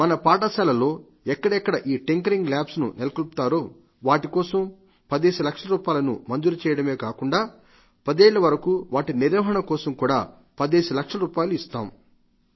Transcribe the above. మన పాఠశాలల్లో ఎక్కడెక్కడ ఈ టింకరింగ్ ల్యాబ్స్ ను నెలకొల్పుతారో వాటి కోసం పదేసి లక్షల రూపాయలను మంజూరు చేయడామే గాకుండా ఐదేళ్ల వరకు వాటి నిర్వహణ కోసం కూడా పదేసి లక్షల రూపాయలు ఇస్తాం